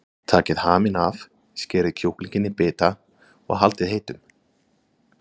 Takið haminn af, skerið kjúklinginn í bita og haldið heitum.